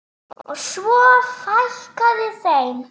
Og svo fækkaði þeim.